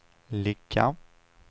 ligga